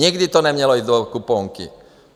Nikdy to nemělo jít do kuponky.